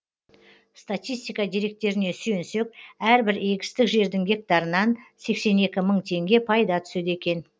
статистика деректеріне сүйенсек әрбір егістік жердің гектарынан сексен екі мың теңге пайда түседі екен